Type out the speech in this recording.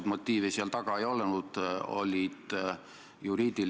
Te ütlete, et siseminister õõnestab õigusriiki.